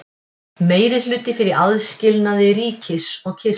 Meirihluti fyrir aðskilnaði ríkis og kirkju